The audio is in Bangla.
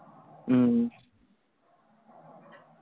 হম